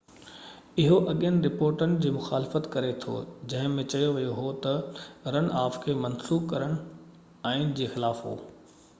اهو اڳين رپورٽن جي مخالفت ڪري ٿو جنهن ۾ چيو ويو هو تہ رن آف کي منسوخ ڪرڻ آئين جي خلاف هو